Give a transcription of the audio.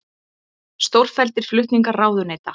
Stórfelldir flutningar ráðuneyta